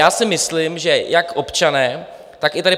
Já si myslím, že jak občané, tak i tady